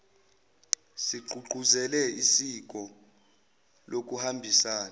sigqugquzele isiko lokuhambisana